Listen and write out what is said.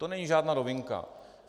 To není žádná novinka.